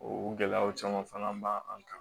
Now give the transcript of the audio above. O gɛlɛyaw caman fana b'an an kan